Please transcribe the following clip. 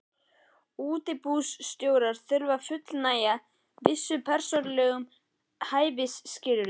Útibússtjórar þurfa að fullnægja vissum persónulegum hæfisskilyrðum.